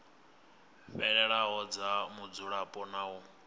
fhelelaho dza mudzulapo na u